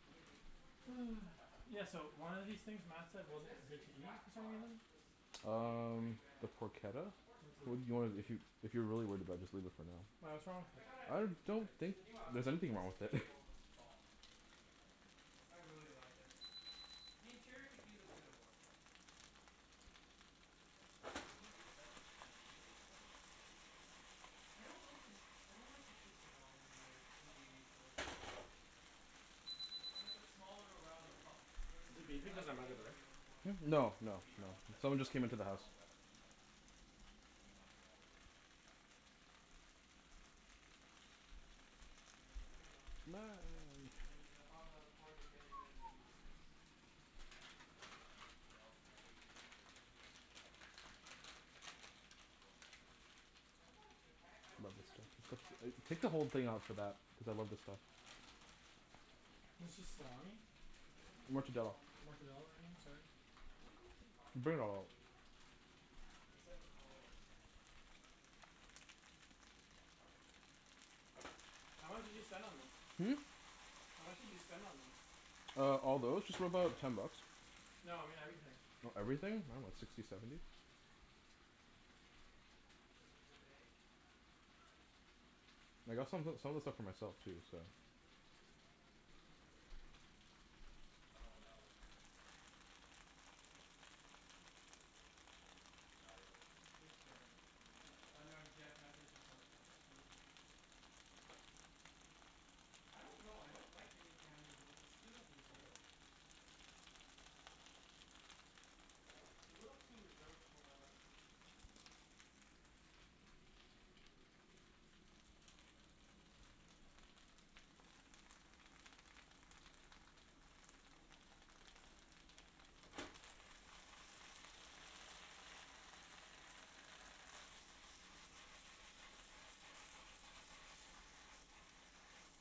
I'd give it a few more years. Like, even if I had Yeah, money so right now, I one of don't these think things I'd Mat said buy If wasn't this good to eat, exact for some car reason? was maybe thirty Um, grand? the I'd do it. Yeah, of porchetta? course. What's T- Well, I'd it do you wanna, it, too. if you If you're really worried about it, just leave it for now. Why, Eek- what's wrong I with I it? gotta I give them don't creds. think The new Audi there's l- anything wrong S with A it. four looks bomb. Yeah, I like the new A four I by really Audi. like it. The interior could use a bit of work, though. Mm, I I like the new A seven, I mean the new A four they completely redesigned everything. I don't like the n- I don't like the shifter knob in the new a for- in the A fours. The shifter knob is, it I- it's it's like a like a s- small little round pub. Is Versus it the, I beeping like cuz the I'm by the door? BMW ones more. Hmm? No, The no, beamer no. one, the Someone beamer just ones, came like, into the no house. one will ever touch that. Beamer ones will always be the best at that. Yeah. I dunno. And then the Honda Accord, they're getting rid of the V six. Yeah, cuz every every, they're all, every company's going towards like, four engines. Or four cylinder engines. What about a Toyo- I I don't Love see this that many stuff. Tu- people s- buying e- Toyota Take the whole Camrys. thing off of that. Cuz I love this stuff. Uh, I yeah, the only Camrys I It's see are just really old salami? ones. I haven't seen newer Mortadella. ones lately. Mortadella I mean, sorry. No one seems to be buying Bring it all Toyota out. lately. Except for Corollas. Jeff's part of civic nation now. How much did you spend on this? Hmm? How much did you spend on this? Uh, all Oh, those? I Just got a about call. ten bucks. No, I mean everything. Oh, everything? I dunno. Sixty, seventy? Is it the bay? I got some o- some of the What? stuff for myself, too, so Oh, no, what the heck? No, it was It's Jeff. No, it Uh wasn't no, Jeff messaged us on the WhatsApp group. I don't know. I don't like the new Camry's look. It's too reserved. It's a little too reserved for my liking.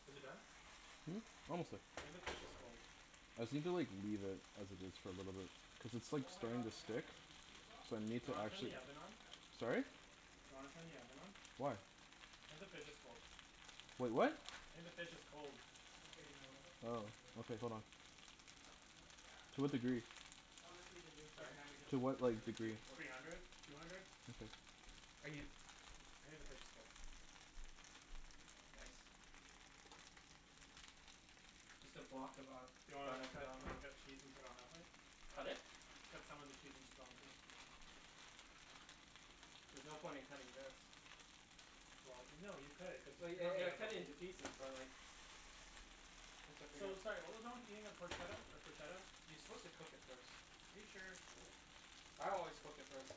Is it done? Hmm? Almost there. I think the fish is cold. I just need to like, leave it as it is for a little bit. Cuz it's like, Oh my god, starting the to Camry stick. has a V six So I option Do need you still? to wanna turn the actually oven on? I would st- I would, Sorry? still wouldn't get it. Do you wanna turn the oven on? Why? I think the fish is cold. Wait, Why what? not? I think the fish is cold. Okay, no, it doesn't look Oh. that good. Okay, hold on. Cuz it's takes so much more gas. To what Yeah. degree? Honestly, the new, the Sorry? Camry doesn't To look what, as like, good as the degree? Accord. Three hundred. Two hundred? Okay. Are you I think the fish is cold. Nice. Just a block of a- Do you want me Grana to cut, Padano. want me to cut cheese and put it on that plate? Cut it? Cut some of the cheese and just put it on the plate. There's no point in cutting this. Well no, you cut it. Cuz you Well ye- e- cut it can't a into piece. pieces, but like once I figure So, out sorry what was wrong with eating the Porchetta, or Proshetta? You're supposed to cook it first. Are you sure? I always cook it first.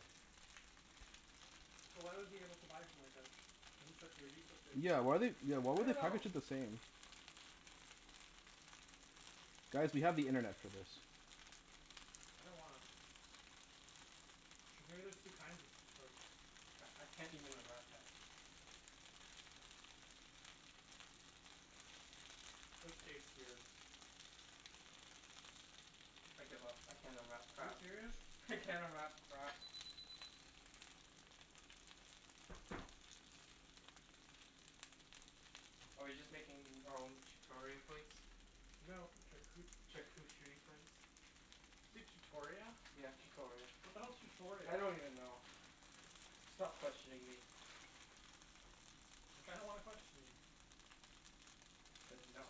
So why was he able to buy it from like, a sh- isn't charcuterie supposed to be Yeah, why like they, eaten why I would don't they know. package it the same? Guys, we have the internet for this. I don't wanna. Cuz maybe there's two kinds of of C- I can't even unwrap that. This tastes weird. I give up. I can't unwrap Are you crap. serious? I can't unwrap crap. Are we just making our own chutoria plates? No, charcu- Charcucherie plates? Say chutoria? Yeah, chutoria. What the hell's chutoria? I don't even know. Stop questioning me. I kinda wanna question you. I said no.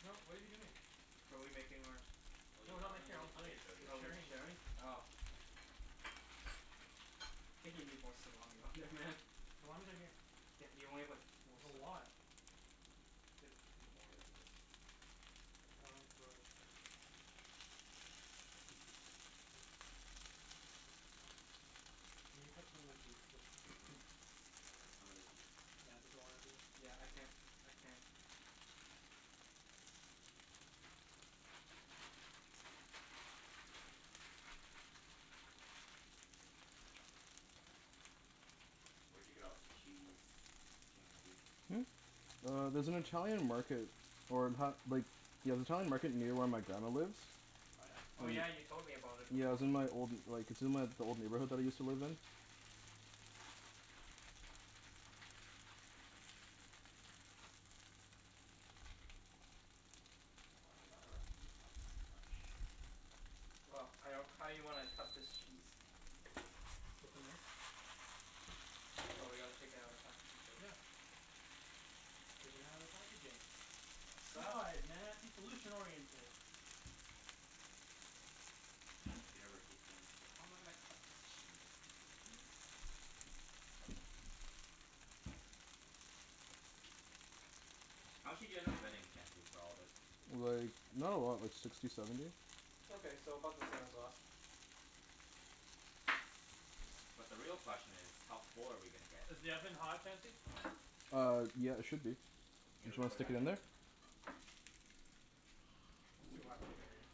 No, what are you doing? Are we making our Oh, No, we're Ibs, I not have something making our really own funny to plates. show you. We're Oh, we'll be sharing sharing? this. Oh. I think you need more salami on there, man. Salami's right here. Yeah, you only have like, four There's a sli- lot. Better put a few more. Here, look at this. John Can you cut some of the cheese so s- Cut some of the cheese? since Mat doesn't wanna do it. Yeah, I can't, I can't. Where'd you get all this cheese, Chancey? Hmm? Uh, there's an Italian market or in ta- like Yeah, the Italian market near where my grandma lives. Oh yeah? Oh yeah, you An- told me about it Yeah, it before. was in my old like, it's in my, the old neighborhood that I used to live in. Why do they gotta wrap it in plastic so much? Well, I don't, how you wanna cut this cheese? With a knife. Oh, we gotta take it outta the packaging first. Yeah. Take it outta the packaging. Sa- God, Mat, be solution oriented. University students. So how am I gonna cut this cheese? How much did you end up spending, Chancey, for all of this? Like, not a lot. Like, sixty, seventy. Okay, so about the same as last. But the real question is how full are we gonna get from Is the oven this? hot, Chancey? Uh, yeah, it should be. Are you Did gonna you re- wanna put it stick back it in in? there? It's too hot to carry.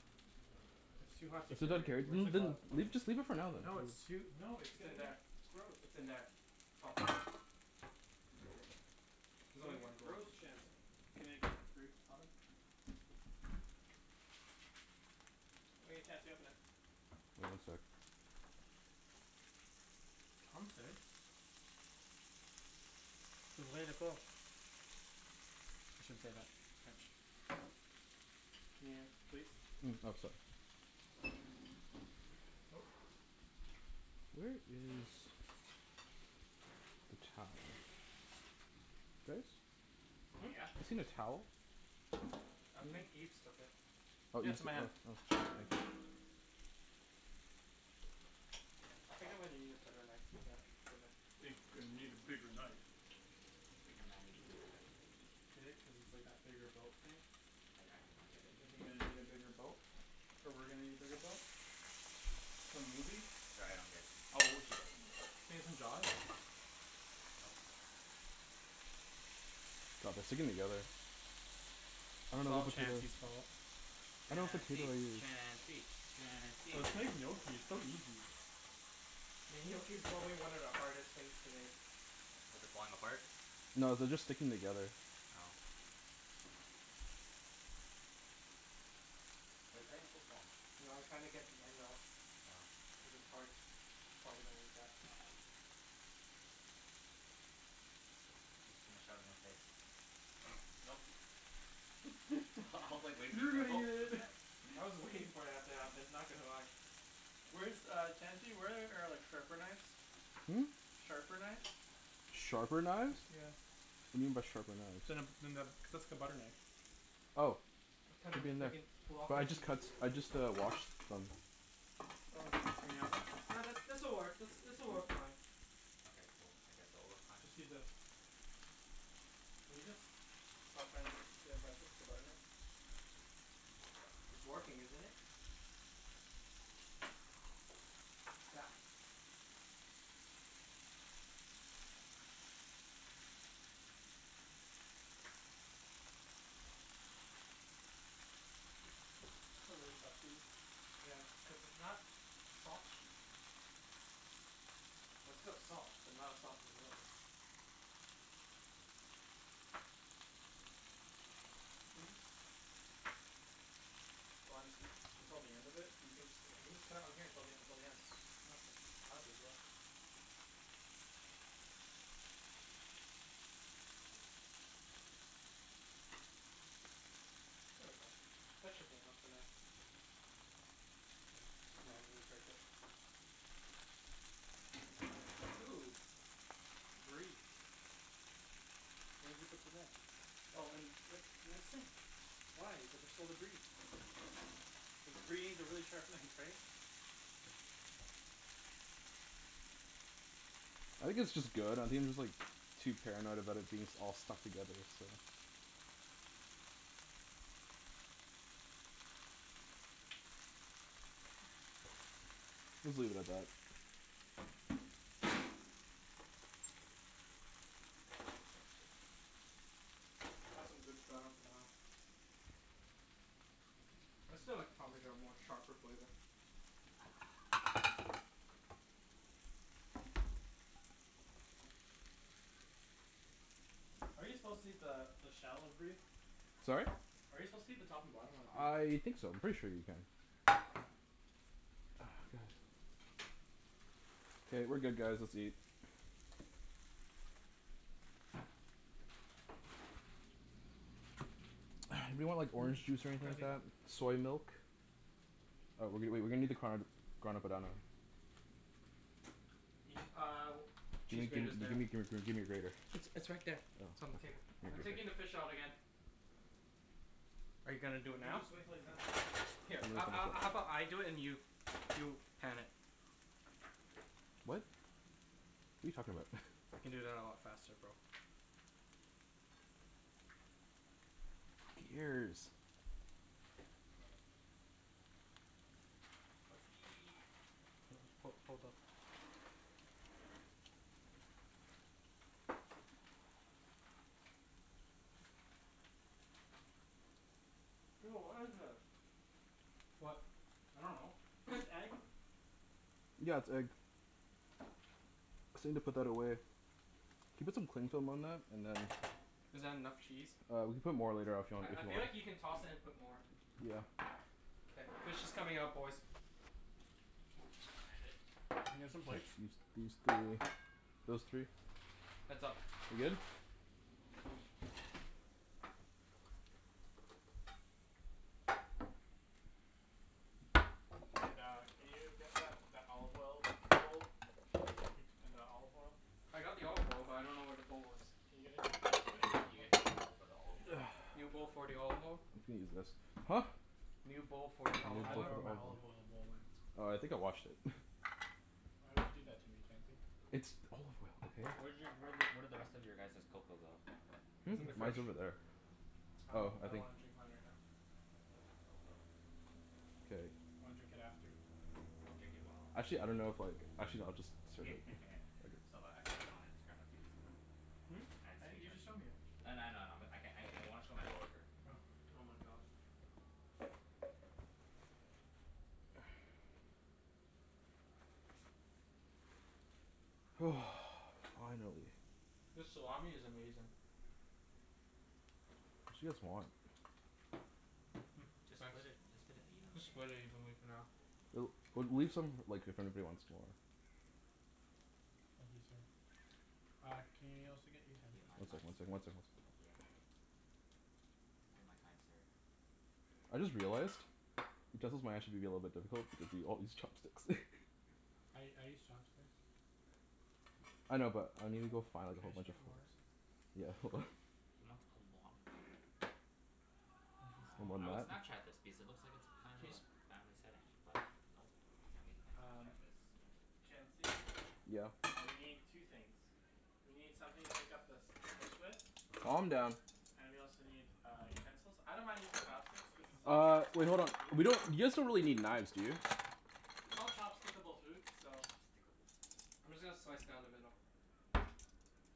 It's too hot to So don't care, carry. Where's n- the th- n- glove? Leave, just leave it for now, No, then. it's too, no, it's It's in there. I- Gross. it's in there. Top drawer. It's There's only gonna one get glove. gross, Chancey. Can I get through? Oven. All right, Chancey, open it. One sec. Chancey. I shouldn't say that. French. Can you, please? Mm? Oh, sor- Ooh. Where is a towel? Guys? Hmm? Yeah? Seen a towel? I think Ibs took it. Oh, Yeah, it's Ibs in my hand. Oh, thank you. I think I'm gonna need a better knife than that for the Think I need a bigger knife. Bigger man needs a bigger knife. Get it? Cuz it's like that bigger boat thing? I I do not get it. Thinking that I need a bigger boat. Or we're gonna need a bigger boat. Nope. For movies. Sorry, I don't get it. Oh Nope. God, they're sticking together. I don't It's know all what to do. Chancey's fault. Chancey! Chancey! Chancey! Let's make gnocchi. It's so easy. Mean gnocchi's probably one of the hardest things to make. What, is it falling apart? No, they're just sticking together. Oh. Why are you cutting it so small? No, I'm trying to get the end off. Oh. Cuz it's hard. Probably don't eat that. He's just gonna shove it in his face. Nope. I I was like, waiting for you to go gulp. I was waiting for that to happen. Not gonna lie. Where's Uh. uh, Chancey? Where are like sharper knives? Hmm? Sharper knives? Sharper knives? Yeah. What do you mean by sharper knives? Then a, than the, just a butter knife. Oh. I'm They'll cutting a be in there. fricking block But of I just cheese. cuts, I just uh washed them. Oh, in the oven? No, this this'll work, this this'll work fine. Okay, cool. I guess it'll work fine. Just use this. Can you just stop trying to impress us with a butter knife? It's working, isn't it? I don't know what you expect to me. That's a really tough cheese. Yeah, it's cuz it's not soft cheese. Well, it's still soft, but not as soft as those. You can just Why don't just until the end of it? You can jus- you can just cut it on here till the until the end. Okay. Not a big deal. There we go. That should be enough for now. Yeah, just Just manually manually break break it. it. Ooh. Brie. Where'd you put the knife? Oh in, right in the sink. Why? But there's still the brie. Cuz brie needs a really sharp knife, right? I think it's just good. I think I'm just like too paranoid about it being s- all stuck together, so Let's leave it at that. That's some good Grana Padano. I still like parmesan more. Sharper flavor. Are you supposed to eat the the shell of brie? Sorry? Are you supposed to eat the top and bottom on the brie? I think so. I'm pretty sure you can. Ah, god. K, we're good guys. Let's eat. Anyone want like orange juice or anything like Chancey. that? Soy milk? Uh, w- w- wait. We're gonna need the card Grana Padano. Eat uh, cheese Gimme gimme grater's g- there. gimme gr- gr gimme your grater. It's it's right there. It's Oh. on the table. I'm taking the fish out again. Are you You gonna can do it now? just wait until he's done. Here a- a- how about I do it and you you pan it? What? What are you talking about? I can do that a lot faster, bro. Fucking ears. Let's eat. Hold on. Ho- hold up. Ew, what is this? What? I dunno. This egg? Yeah, it's egg. Just need to put that away. Can you put some cling film on that? And then Is that enough cheese? Uh, we can put more later af- you want, I if I you feel want. like you can toss it and put more. Yeah. K, fish is coming out, boys. You gonna one hand it? Can I get some K, plates? use these three. Those three. Heads up. We good? And uh, can you get that that olive oil bowl? And the olive oil? I got the olive oil, but I don't know where the bowl is. Can you get a new bowl for me? Can you get a new bowl for the olive oil? New bowl for the olive oil? You can use this. Huh? New bowl for the You need olive I a bowl dunno oil. where for the my olive oil. olive oil bowl went. Oh, I think I washed it. Why would you do that to me, Chancey? It's olive oil, Wh- where okay? did y- where did where did the rest of your guys's cocoa go? Hmm? It's It's in in the the fridge. Mine's fridge. over there. Oh. I Oh, lik- I I don't think wanna drink mine right now. Cocoa. K. I wanna drink it after. Drink it while you're Actually I don't know if eating. like, actually no, I'll just serve I it. saw th- I saw this on Instagram like, two days ago. Hmm? I- you just showed me it. I kn- I know, I know. I'm I can- I I wanna show my coworker. Oh. Oh my god. Finally. This salami is amazing. We should get some more. Mm, Just thanks. split it, just put it evenly Just split it I guess. evenly for now. L- well, leave some like, if anybody wants to more. Thank you, sir. Uh, can y- you also Thank get you, utensils, my One please? fine second, one sir. second, one second. Yeah. Thank you, my kind sir. I just realized utensils might actually be a little bit difficult because we all use chopsticks. I I use chopsticks. I know, but I need to go find Can like a I whole actually bunch of get more? forks. Yeah, hold on. He wants a lot more. Thank you, sir. Aw, I would Snapchat this because it looks like it's kind of a Cheese? family setting, but nope. Can't we can't Um Snapchat this. Chancey? Yeah? Uh, we need two things. We need something to pick up the s- the fish with. Calm down. And we also need, uh, utensils. I don't mind using chopsticks cuz this is all Uh, wait, hold chopstick-able on. food. We don't, you guys don't really need knives, do you? It's all chopstick-able food, so Chopstickable food. I'm just gonna slice down the middle.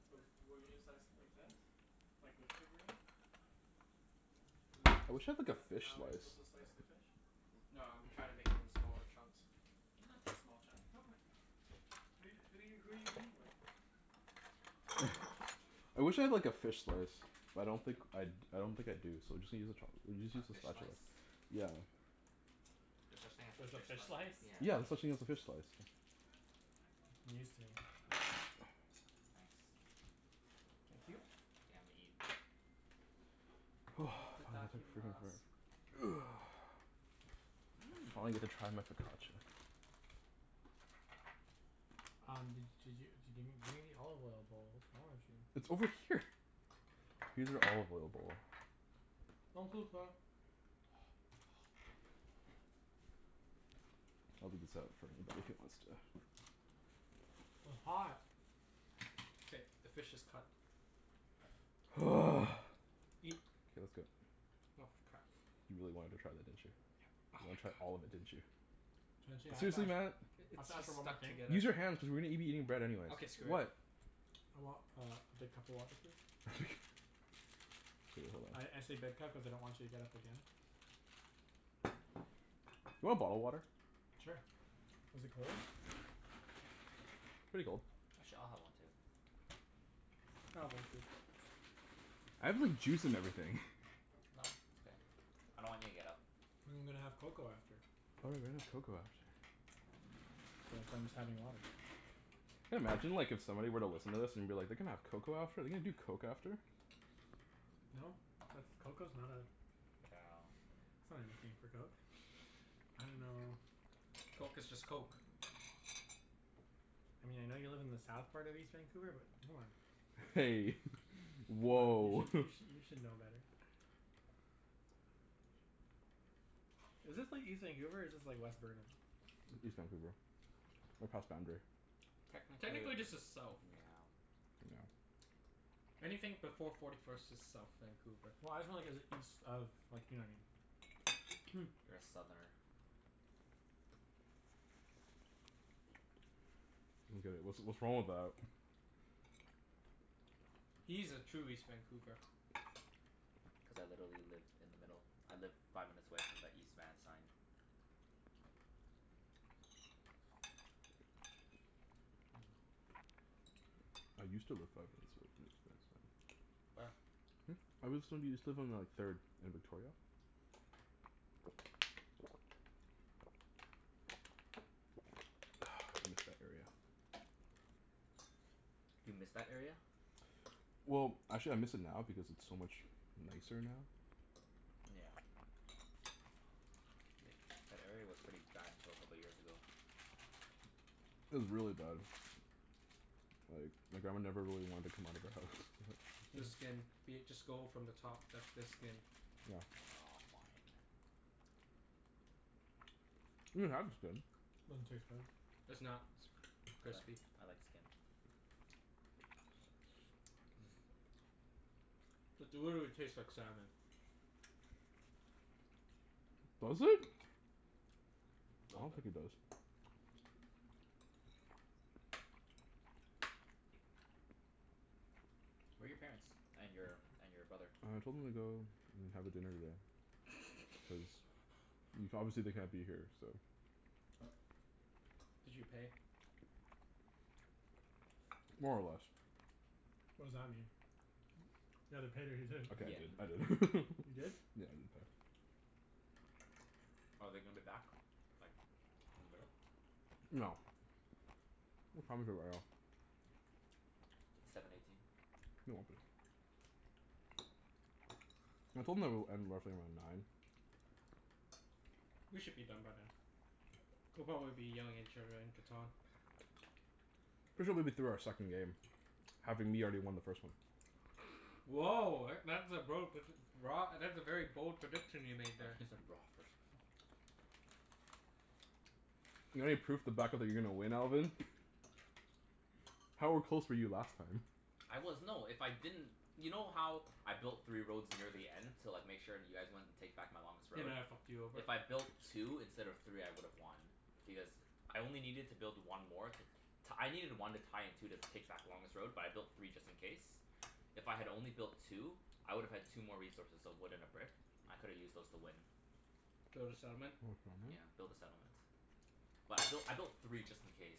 W- wouldn't you slice it like this? Like, with the grain? Isn't I that wish I had like isn't a that fish how you're supposed slice. to slice the fish? No, I'm trying to make it into smaller chunks. They don't have to be small chunk. Okay. Who who are you who are you who are you eating with? I wish I had like a fish slice. But I don't think I d- I don't think I do, so just use a chopst- just A use a fish spatula. slice? Yeah. There's such thing as a There's a fish fish slice? slice? Yeah. Yeah, there's such thing as a fish slice. News to me. Ah, thanks. Thank you. Yeah, I'm gonna eat. Finally Mmm. get to try my focaccia. Um, d- did you d- give me gimme the olive oil bowl? Wrong with you? It's over here. Use an olive oil bowl. I'll leave this out for anybody who wants to W- hot. K, the fish is cut. Eat. K, let's go. Oh f- crap. You really wanted to try that, didn't you? Yep. Oh You my wanted to try all god. of it, didn't you? Chancey, I have to Seriously Mat? ask I- I have it's to ask just for one more stuck thing. together. Use your hands cuz we're gonna be eating bread anyways. Okay, screw it. What? I want uh, a big cup of water, please? Okay, hold I I on. say big cup cuz I don't want you to get up again. You want bottled water? Sure. Is it cold? Pretty cold. Actually, I'll have one too. I'll have one too. I have like juice and everything. No, it's okay. I don't want you to get up. I'm gonna have cocoa after. Oh right, we're gonna have cocoa after. So that's why I'm just having water. Can imagine like, if somebody were to listen to this, and be like, "They're gonna have cocoa after? They're gonna do coke after?" No. That's cocoa's not a Yeah. that's not anything for coke. I dunno Coke is just coke. Hey. You Woah! should you sh- you should know better. Is this like, east Vancouver, or is this like, west Burnaby? East Vancouver. We're past Boundary. Technically, yeah. Technically this is south. Yeah. I don't Anything before forty first is south Vancouver. Well, I was just wonder cuz it's east of, you know what I mean? You're a southerner. get it. What's what's wrong with that? He's a true east Vancouver. Cuz I literally live in the middle. I live five minutes away from the East Van sign. I used to live five minutes away from the East Van sign. Where? Hmm? I was so, used to live on like third and Victoria. I miss that area. Do you miss that area? Well, actually I miss it now because it's so much nicer now. Yeah. Like, that area was pretty bad until a couple years ago. It was really bad. Like, my grandma never really wanted to come out of the The skin. house. Be it, just go from the top. That's the skin. Yeah. Aw, fine. You can have the skin. Doesn't taste good. It's not I like crispy. I like skin. It literally tastes like salmon. Mmm. Does it? I Little don't think bit. it does. Where are your parents? And your and your brother? I told them to go and have a dinner today, cuz y- obviously they can't be here, so Did you pay? More or less. What does that mean? You either paid or you didn't. Okay, Yeah, I didn't. I an- didn't. You didn't? Yeah, I didn't pay. Are they gonna be back, like, in the middle? No. What time is it right now? Seven eighteen. They won't be. I told them that it would end roughly around nine. We should be done by then. We'll probably be yelling at each other in Catan. We should be be through our second game. Having me already won the first one. Woah, e- that's a bro predic- broa- that's a very bold prediction you made I thought there. you said raw at first. Not any proof to back up that you're going to win, Alvin? How are close were you last time? I was, no, if I didn't You know how I built three roads near the end? To like, make sure you guys wouldn't take back my longest They road? might have fucked you over. If I built two instead of three I would have won. Because I only needed to build one more to t- I needed one to tie and two to take back the longest road, but I built three just in case. If I had only built two, I would have had two more resources. So a wood and a brick. I could've used those to win. Build a settlement? Yeah, build a settlement. But I built I built three just in case.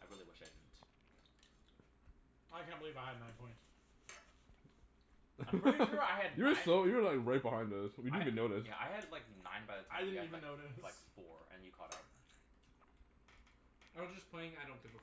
I really wish I didn't. I can't believe I had nine points. I'm pretty sure I had You were nine so, you were like right behind us. We I didn't ha- even notice. yeah, I had like nine by the I time you didn't had even like f- like notice. four, and you caught up. I was just playing I don't give a f-